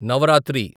Navratri